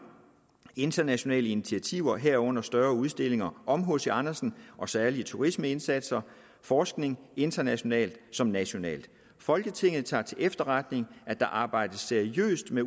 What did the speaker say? internationale initiativer herunder større udstillinger om hc andersen og særlige turismeindsatser forskning internationalt som nationalt folketinget tager til efterretning at der arbejdes seriøst med